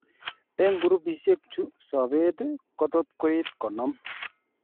Eng' grupisiek chu sobeet kotot koit konom